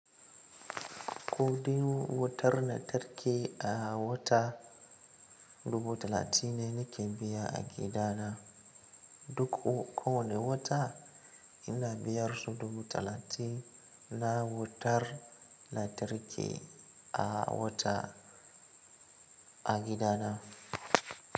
Kuɗin wutar lantarki a wata dubu talatin ne nake biya a gidana duk kowane wata. Ina biyar su dubu talatin na wutar lantarki a wata a gidana.